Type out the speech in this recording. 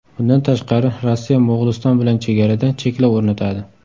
Bundan tashqari, Rossiya Mo‘g‘uliston bilan chegarada cheklov o‘rnatadi.